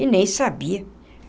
E nem sabia.